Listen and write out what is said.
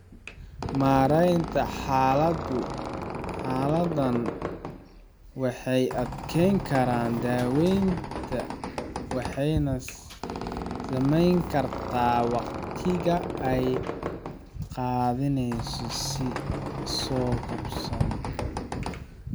Maareynta xaaladahaan waxay adkeyn karaan daaweynta waxayna saameyn kartaa waqtiga ay qaadaneyso soo kabashada.